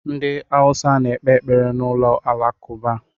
Ndị Awụsa na-ekpe ekpere n'ụlọ alakụba.